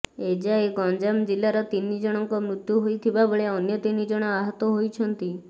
ଏଯାଏ ଗଂଜାମ ଜିଲ୍ଲାର ତିନି ଜଣଙ୍କ ମୃତ୍ୟୁ ହୋଇଥିବା ବେଳେ ଅନ୍ୟ ତିନି ଜଣ ଆହତ ହୋଇଛନ୍ତି